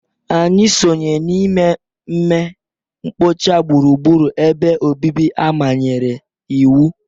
Anyị sonye n'ime ime mkpocha gburugburu ebe obibi a manyere iwu